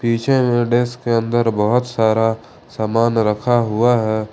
पीछे में डिस्क के अंदर बहुत सारा सामान रखा हुआ है।